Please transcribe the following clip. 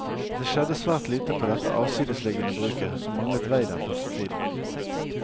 Det skjedde svært lite på dette avsidesliggende bruket som manglet vei den første tiden.